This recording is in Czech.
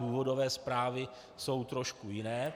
Důvodové zprávy jsou trošku jiné.